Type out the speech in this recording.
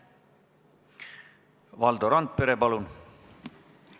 Valdo Randpere, palun!